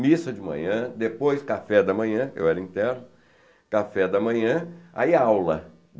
Missa de manhã, depois café da manhã, eu era interno, café da manhã, aí aula.